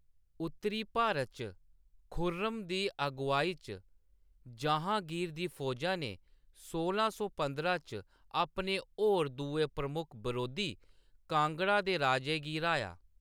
उत्तरी भारत च, खुर्रम दी अगुआई च जहांगीर दी फौजा ने सोलां सौ पंदरां च अपने होर दुए प्रमुख बरोधी, कांगड़ा दे राजे गी ह्राया।